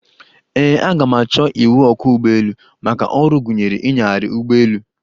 Ee, aga m achọ iwụ ọkwọ́ ụgbọelu, maka ọrụ gụnyere inyagharị ụgbọelu.